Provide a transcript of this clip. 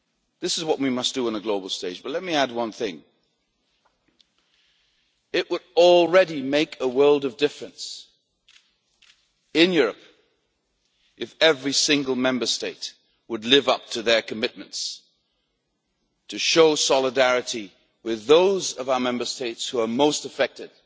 This is what we must do on the global stage but let me add one thing it would already make a world of difference in Europe if every single Member State would live up to its commitments to show solidarity with those of our Member States most affected